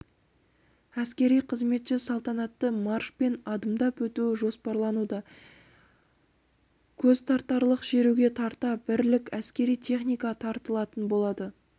әскери қызметші салтанатты маршпен адымдап өтуі жоспарлануда көзтартарлық шеруге тарта бірлік әскери техника тартылатын болады